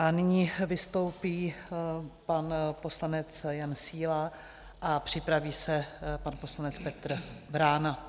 A nyní vystoupí pan poslanec Jan Síla a připraví se pan poslanec Petr Vrána.